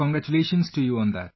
Our congratulations to you on that